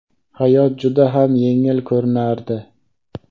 hayot juda ham yengil ko‘rinardi.